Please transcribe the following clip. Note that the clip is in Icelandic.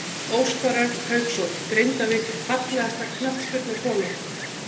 Óskar Örn Hauksson, Grindavík Fallegasta knattspyrnukonan?